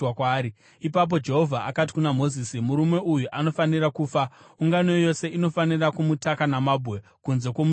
Ipapo Jehovha akati kuna Mozisi, “Murume uyo anofanira kufa. Ungano yose inofanira kumutaka namabwe kunze kwomusasa.”